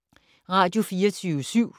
Radio24syv